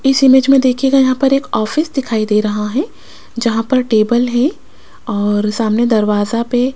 इस इमेज में देखिएगा यहां पर एक ऑफिस दिखाई दे रहा है जहां पर टेबल है और सामने दरवाजा पे --